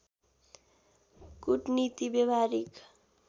कूटनीति व्यावहारिक